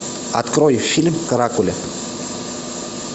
открой фильм каракули